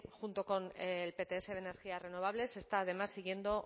junto con el pts de energías renovables está además siguiendo